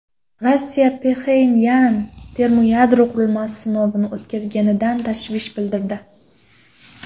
Rossiya Pxenyan termoyadro qurilmasi sinovini o‘tkazganidan tashvish bildirdi.